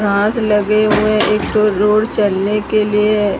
घास लगे हुए एक तो रोड चलने के लिए--